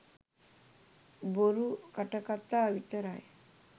බොරු කටකතා විතරයි